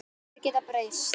Allir geta breyst.